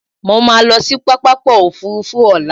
Mo máa lọ sí pápákọ̀ òfurufú ní ọ̀la